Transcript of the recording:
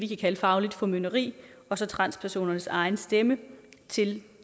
kalde fagligt formynderi og så transpersonernes egen stemme til